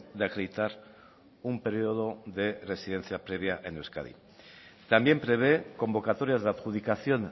de acreditar un periodo de residencia previa en euskadi también prevé convocatorias de adjudicación